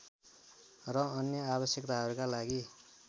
र अन्य आवश्यकताहरूका लागि